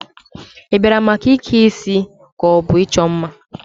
Ị bịara maka ike isi ka ọ bụ ịchọ mma?